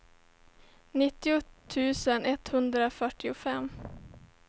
nittio tusen etthundrafyrtiofem